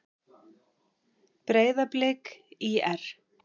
Breiðablik- ÍR